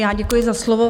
Já děkuji za slovo.